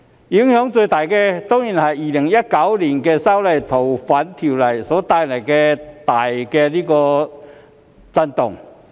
影響最大的，當然是2019年修訂《逃犯條例》所帶來的大震動。